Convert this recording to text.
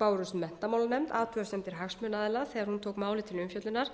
bárust menntamálanefnd athugasemdir hagsmunaaðila þegar hún tók málið til umfjöllunar